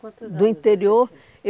Quantos anos você tinha? Do interior